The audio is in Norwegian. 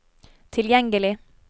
tilgjengelig